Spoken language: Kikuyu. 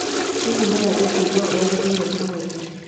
Hihi no wende kũigua ũrĩa gwathire ũmũthĩ